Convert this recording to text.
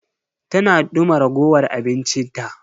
Tana duma ragowar abinci ta.